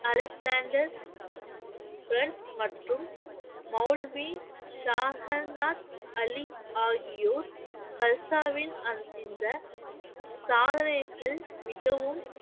Alexander மற்றும் மௌல்வி சாஹங்காத் அலி ஆகியோர் கல்சாவின் அந்~ இந்த சாதனைகள் மிகவும்